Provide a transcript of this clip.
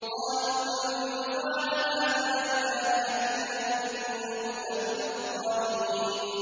قَالُوا مَن فَعَلَ هَٰذَا بِآلِهَتِنَا إِنَّهُ لَمِنَ الظَّالِمِينَ